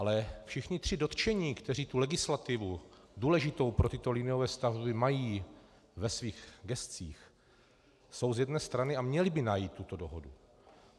Ale všichni tři dotčení, kteří tu legislativu důležitou pro tyto liniové stavby mají ve svých gescích, jsou z jedné strany a měli by najít tuto dohodu.